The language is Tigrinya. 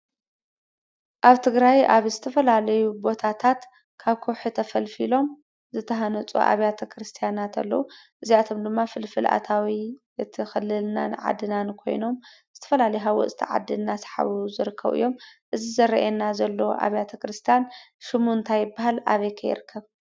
አብ ትግራይ አብ ዝተፈላለዩ ቦታታት ካብ ከውሒ ተፈልፊሎም ዝተሃነፁ አብያተ ክርስቲያናት አለው። እዚአቶ ድማ ፍልፍል አታዊ እቲ ክልልናን ዓድናን ኮይኖም ዝተፈላለዩ ሃወፅቲ ዓዲ ናሰሓቡ ዝርከቡ እዮም። እዚ ዝሪአየና ዘሎ አብያተ ክርስትያን ሽሙ እንታይ ይበሃል? አበይ ከ ይርከብ?